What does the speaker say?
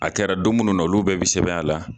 A kɛra don munnu na olu bɛɛ bɛ sɛbɛn a la.